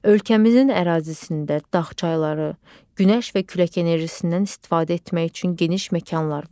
Ölkəmizin ərazisində dağ çayları, günəş və külək enerjisindən istifadə etmək üçün geniş məkanlar var.